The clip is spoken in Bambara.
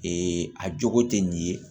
Ee a jogo tɛ nin ye